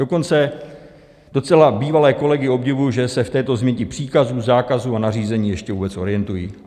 Dokonce docela bývalé kolegy obdivuji, že se v této změti příkazů, zákazů a nařízení ještě vůbec orientují.